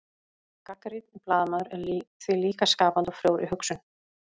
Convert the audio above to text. gagnrýninn blaðamaður er því líka skapandi og frjór í hugsun